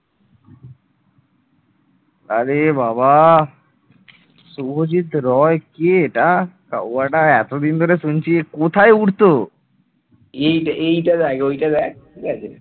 এই এইটা দেখ ওইটা দেখ ঠিক আছে ।